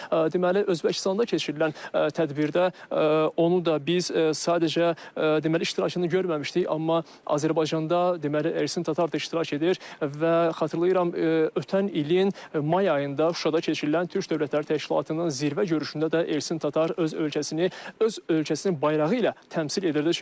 Deməli Özbəkistanda keçirilən tədbirdə onu da biz sadəcə deməli iştirakını görməmişdik, amma Azərbaycanda deməli Ərsin Tatar da iştirak edir və xatırlayıram ötən ilin may ayında Şuşada keçirilən Türk Dövlətləri Təşkilatının zirvə görüşündə də Ərsin Tatar öz ölkəsini öz ölkəsinin bayrağı ilə təmsil edirdi.